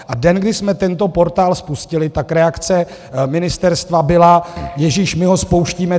A den, kdy jsme tento portál spustili, tak reakce ministerstva byla - ježíš my ho spouštíme.